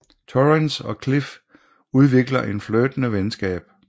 Torrance og Cliff udvikler en flirtende venskab